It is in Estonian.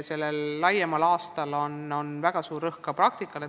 Sellel laiapõhjalisemal aastal on väga suur rõhk ka praktikal.